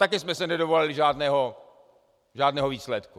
Taky jsme se nedovolali žádného výsledku.